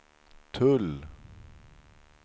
tull